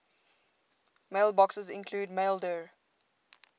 mailboxes include maildir